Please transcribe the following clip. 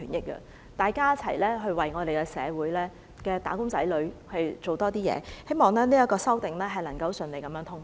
希望大家一起為社會的"打工仔女"多做點事，也希望這項修訂能夠順利通過。